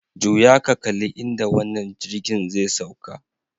Juya ka kalli inda wannan jirgin zai sauka.